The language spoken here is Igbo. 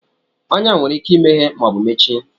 Ọnyá nwere ike imeghe ma ọ bụ mechie